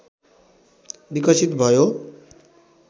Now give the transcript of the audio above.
विकसित भयो